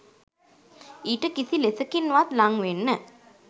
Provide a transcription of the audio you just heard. ඊට කිසි ලෙසකින්වත් ළං වෙන්න